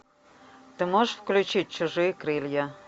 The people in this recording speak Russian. ты можешь включить чужие крылья